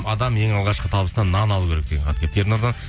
адам ең алғашқы табысына нан алу керек деген хат келіпті ернұрдан